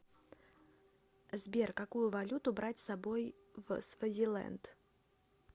сбер какую валюту брать с собой в свазиленд